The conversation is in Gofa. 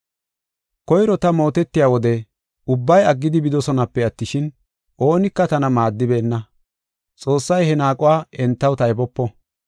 Koyro ta mootetiya wode ubbay aggidi bidosonape attishin, oonika tana maaddibeenna. Xoossay he naaquwa entaw taybopo.